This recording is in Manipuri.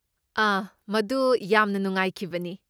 ꯑꯍ! ꯃꯗꯨ ꯌꯥꯝꯅ ꯅꯨꯡꯉꯥꯏꯈꯤꯕꯅꯤ꯫